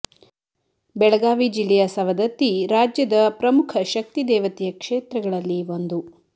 ಬೆಳಗಾವಿ ಜಿಲ್ಲೆಯ ಸವದತ್ತಿ ರಾಜ್ಯದ ಪ್ರಮುಖ ಶಕ್ತಿ ದೇವತೆಯ ಕ್ಷೇತ್ರಗಳಲ್ಲಿ ಒಂದು